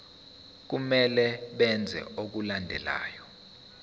kumele benze okulandelayo